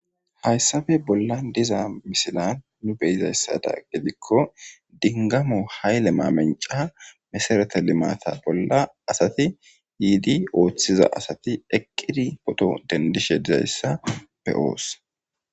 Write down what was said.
Hayssan bollan diza misilan nu be'ido giddikko, dinggamo hayle mamancca masarata limateta oolla asati yidi ootsiza asati eqqidi pooto tendishe diza be'oos.